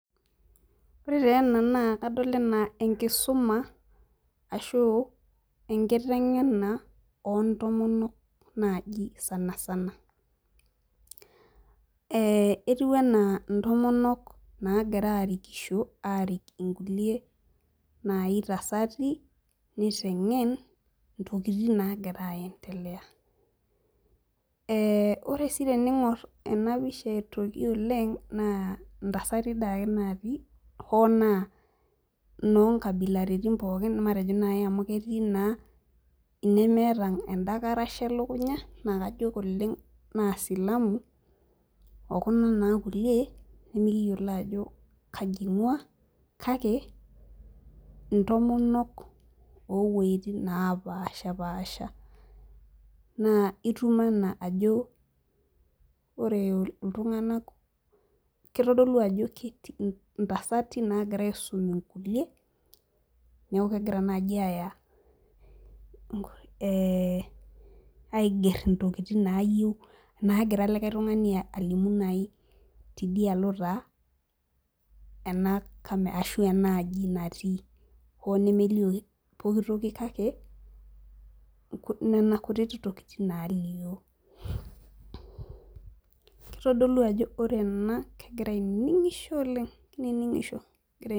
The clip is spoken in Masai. Ore taa ena naa kadol anaa enakisuma ashu, enkiteng'ena oo ntomonok naaji sanasana.ee etiu anaa intomonok naagira aarikisho naagira aarik inkulie, naai tasati. nitengen. intokitin naagira aendelea. ore sii teningor ena pisha aitoki oleng, naa ntasati dii ake naatii hoo naa inyoo nkabilaritin pookin, matejo naaji amu ketii naa imemeeta eda karasha elukunya naa kajo Oleng naa silamu, okuna naa kulie, nemikiyiolo ajo kaji ing'ua kake intomonok oo wuejitin naapashipaasha. naa itum ajo ore iltunganak kitodolu ano ntasati naagira aisum inkulie, neeku kegira naaji aaya aigero. ntokitin naagira like tungani alimu naai tidialo taa ena aji natii hoo nemeliooo pooki toki kake, Nena kutiti tokitin nalioo. kitodolu ajo ore ena kegira ainining'isho oleng kini ing'isho.